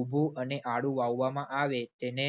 ઉભું અને આડું વાવવામાં આવે, તેને